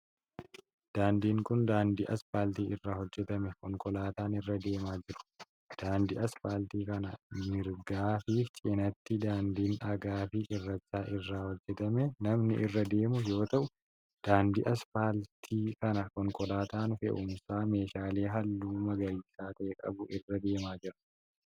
Daandiin kun, daandii asfaaltii irraa hojjatame konkolaataan irra deemaa jiru. Daandii asfaaltii kana mirgaa fi cinaatti daandiin dhagaa fi cirracha irraa hojjatame namni irra deemu yoo ta'u, daandii asfaaltii kana konkolaataan fe'uumsa meeshaalee haalluu magariisa ta'e qabu irra deemaa jira.